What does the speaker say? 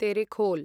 Terekhol